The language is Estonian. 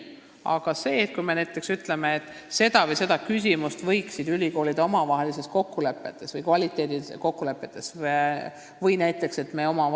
Aga arvan, et kui me näiteks ütleme ülikoolidele, et nad võiksid ühte või teist küsimust omavahelistes kokkulepetes, sh kvaliteedikokkulepetes, reguleerida, siis selline valmisolek on neil olemas.